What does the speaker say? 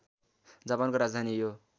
जापानको राजधानी यो